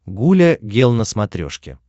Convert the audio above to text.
гуля гел на смотрешке